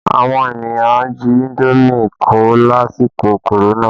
Àwọn ènìyàn jí indomi kó lásìkò korona